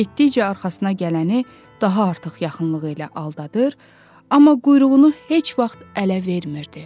Və getdikcə arxasına gələni daha artıq yaxınlığı ilə aldadır, amma quyruğunu heç vaxt ələ vermirdi.